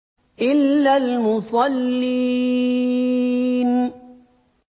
إِلَّا الْمُصَلِّينَ